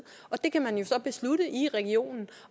og det kan man jo så beslutte i regionen